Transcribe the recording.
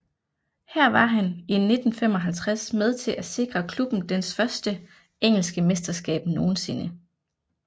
Her var han i 1955 med til at sikre klubben dens første engelske mesterskab nogensinde